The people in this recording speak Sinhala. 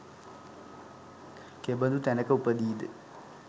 කෙබඳු තැනක උපදීද?